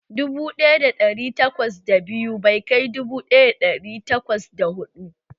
Dubu ɗaya da ɗari takwas da biyu bai kai dubu ɗaya da ɗari takwas da ɗari takwas da huɗu